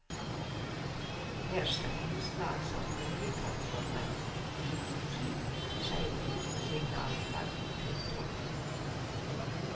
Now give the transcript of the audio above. Her skal innslag som oljeplattformer, vikingskip, seilduk og signalflagg pynte opp.